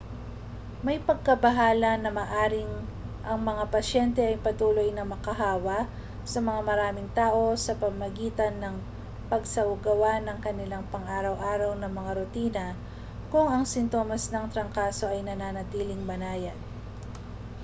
may pagkabahala na maaaring ang mga pasyente ay patuloy na makahawa sa mas maraming tao sa pamamagitan ng pagsasagawa ng kanilang pang-araw-araw na mga rutina kung ang sintomas ng trangkaso ay nananatiling banayad